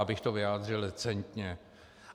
Abych to vyjádřil decentně.